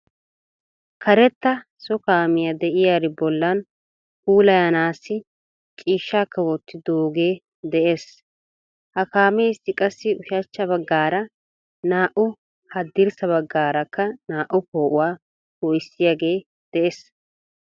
Karetta so kaamiya de"iyari bollan puulayanassi ciishshaakka wottidoogee de'ees. Ha kaameessi qassi ushachcha baggaara naa"u haddirssa baggaarakka naa"u poo"uwaa po"issiyaagee de'ees.